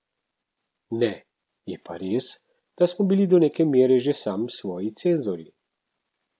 Ne, je pa res, da smo bili do neke mere že sami svoji cenzorji.